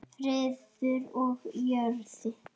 Friður á jörðu.